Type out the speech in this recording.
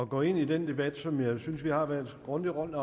gå ind i den debat som jeg synes vi har været grundigt rundt